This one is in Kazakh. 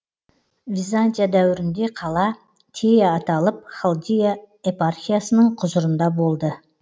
византия дәуірінде қала тея аталып халдия епархиясының құзырында болды